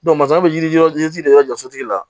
bɛ yiri yɔrɔ yiri de jɔ sotigi la